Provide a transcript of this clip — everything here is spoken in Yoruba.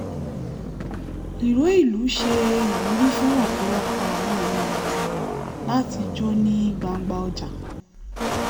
ìró ìlú ṣe ìwúrí fún ọ̀pọ̀lọpọ̀ àwọn ènìyàn láti jó ní gbangba ọjà